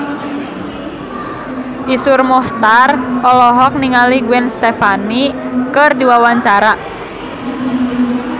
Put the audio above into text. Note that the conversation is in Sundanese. Iszur Muchtar olohok ningali Gwen Stefani keur diwawancara